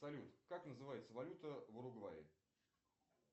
салют как называется валюта в уругвае